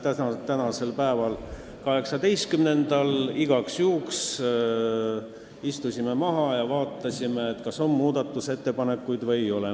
18. detsembril istusime igaks juhuks maha ja vaatasime, kas muudatusettepanekuid on või ei ole.